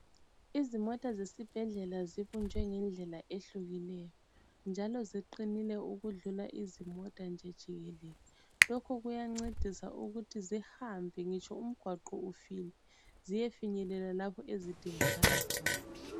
Izimota zesibhedlela zibunjwe ngendlela ehlukileyo. Njalo ziqinile ukudlula izimota nje jikelele. Lokhu kuyancedisa ukuthi zihambe ngitsho umgwaqo ufile. Ziyefinyelela lapho ezidingakala khona.